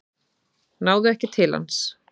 Náðu ekki til hans